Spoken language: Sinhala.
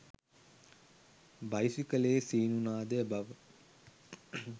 බයිසිකලයේ සීනු නාදය බව